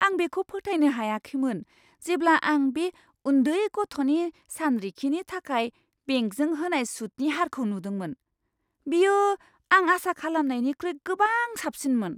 आं बेखौ फोथायनो हायाखैमोन जेब्ला आं बे उन्दै गथ'नि सानरिखिनि थाखाय बेंकजों होनाय सुदनि हारखौ नुदोंमोन। बेयो आं आसा खालामनायनिख्रुइ गोबां साबसिनमोन।